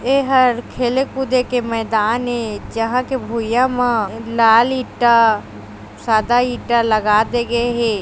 एहा खेले कूदे के मैदान ए जहां के भुईयया मे लाल ईंटा सादा ईंटा लगा दे गे हे।